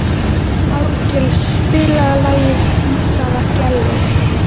Árgils, spilaðu lagið „Ísaðar Gellur“.